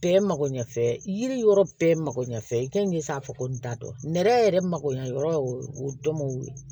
Bɛɛ makoɲɛfɛn yiri yɔrɔ bɛɛ makoɲɛfɛn i kan k'i sago n t'a dɔn nɛrɛ yɛrɛ makoɲɛ yɔrɔ o dɔn